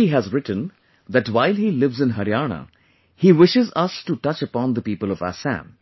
Mayur ji has written that while he lives in Haryana, he wishes us to touch upon the people of Assam,